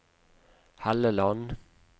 Helleland